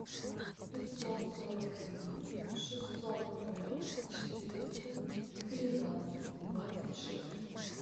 пятьсот сорок один шестьсот ноль четыреста тринадцать двадцать шесть